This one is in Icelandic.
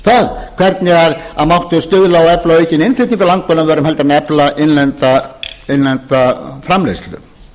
það hvernig mætti stuðla og efla aukinn innflutning á landbúnaðarvörum heldur en að efla innlenda framleiðslu